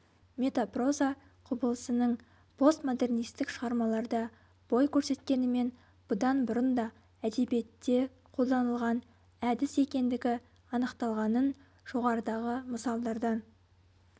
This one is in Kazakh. метапроза құбылысының постмодернистік шығармаларда бой көрсеткенімен бұдан бұрын да әдебиетте қолданылған әдіс екендігі анықталғанын жоғарыдағы мысалдардан